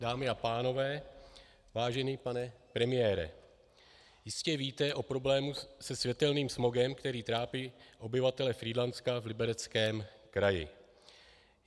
Dámy a pánové, vážený pane premiére, jistě víte o problému se světelným smogem, který trápí obyvatele Frýdlantska v Libereckém kraji.